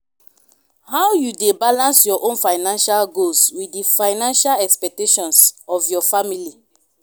how you dey balance your own financial goals with di financial expectations of your family?